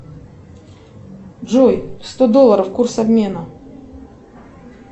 джой сто долларов курс обмена